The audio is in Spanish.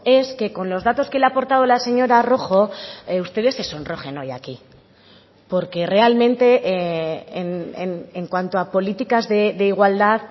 es que con los datos que le ha aportado la señora rojo ustedes se sonrojen hoy aquí porque realmente en cuanto a políticas de igualdad